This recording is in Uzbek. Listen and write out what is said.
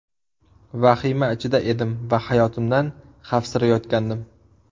Vahima ichida edim va hayotimdan xavfsirayotgandim”.